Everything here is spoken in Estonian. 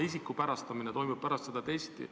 Isikustamine toimuks pärast seda testi.